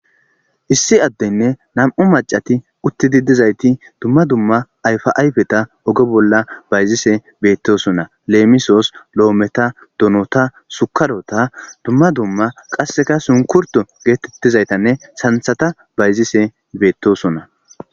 issi addenne nam'u macati uttidi dizayti dumma dumma ayfa ayfeta ogo bolla bayzise beettosona leemisoos loometa donota sukarota dumma dumma qasseka sunkurto geetettizaytanne santhata bayzise beettosona